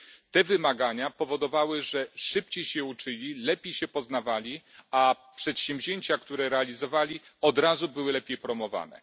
Te wymagania powodowały, że szybciej się uczyli, lepiej się poznawali, a przedsięwzięcia, które realizowali, od razu były lepiej promowane.